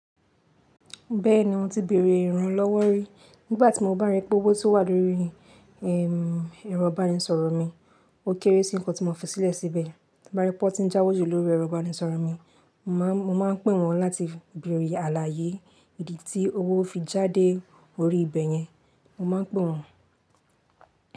Bẹ́ẹ̀ni mo ti bèèrè ìran lọ́wọ́ rí. Nígbà tí mo bá rí pé owó tó wà lóri, ẹ̀rọ ìbánisọ̀rọ̀ mi, ó kéré sí nǹkan tí mo fi sílẹ̀ síbẹ̀. Ti n bá rí pé wón ti ń jáwojú lórí ẹ̀rọ ìbánisọ̀rọ̀ mi, mo máa, mo máa pè wọ́n láti bèèrè àlàyé ìdí tí owó fi jáde orí ibẹ̀ yẹn. Mo máa n pè wọ́n.